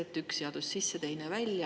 Et, üks seadus sisse, teine välja.